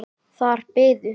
Þar biðu